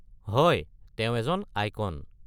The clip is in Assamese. হয়, তেওঁ এজন আইকন।